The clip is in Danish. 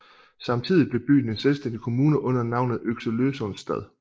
Samtidigt blev byen en selvstændig kommune under navnet Oxelösunds stad